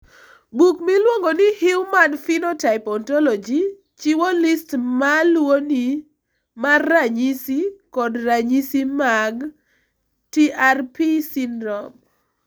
Buk miluongo ni Human Phenotype Ontology chiwo list ma luwoni mar ranyisi kod ranyisi mag TARP syndrome.